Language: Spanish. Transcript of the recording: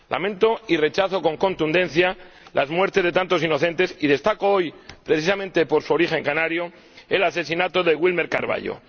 Lamento y rechazo con contundencia las muertes de tantos inocentes —y destaco hoy, precisamente por su origen canario, el asesinato de Wilmer Carvallo—.